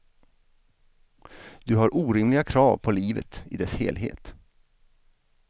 Du har orimliga krav på livet i dess helhet.